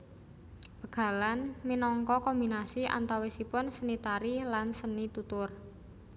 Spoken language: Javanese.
Bégalan minangka kombinasi antawisipun seni tari lan seni tutur